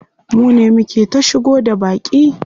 Mune muke ta shigo da baƙi.